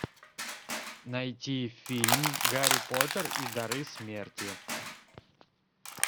найти фильм гарри поттер и дары смерти